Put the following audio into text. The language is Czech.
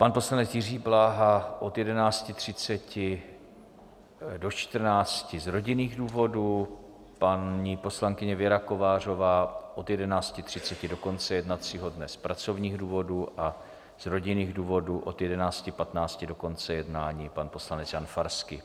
Pan poslanec Jiří Bláha od 11.30 do 14 z rodinných důvodů, paní poslankyně Věra Kovářová od 11.30 do konce jednacího dne z pracovních důvodů a z rodinných důvodů od 11.15 do konce jednání pan poslanec Jan Farský.